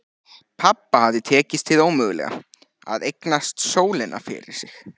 Pabba hafði tekist hið ómögulega: að eignast sólina fyrir sig.